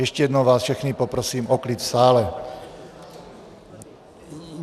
Ještě jednou vás všechny poprosím o klid v sále.